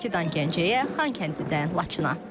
Bakıdan Gəncəyə, Xankəndidən Laçına.